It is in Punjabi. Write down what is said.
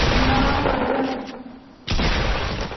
ਹਾਂ ਵਧੀਆ ਕੇ